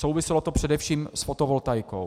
Souviselo to především s fotovoltaikou.